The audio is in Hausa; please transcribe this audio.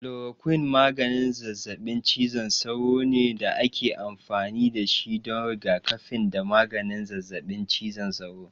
Kulorokwin maganin zazzaɓin cizon sauro ne da ake amfani da shi don rigakafi da maganin zazzaɓin cizon sauro.